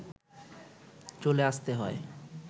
চলে আসতে হয়